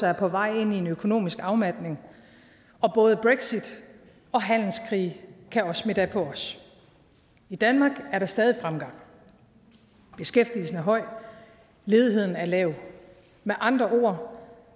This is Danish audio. er på vej ind i en økonomisk afmatning og både brexit og handelskrige kan også smitte af på os i danmark er der stadig fremgang beskæftigelsen er høj ledigheden er lav med andre ord